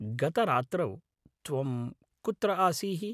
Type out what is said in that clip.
गतरात्रौ त्वं कुत्र आसीः?